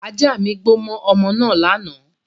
Ajá mi gbó mọ́ ọmọ naa lánàá